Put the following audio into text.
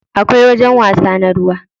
Akwai wajajen wasa na ruwa.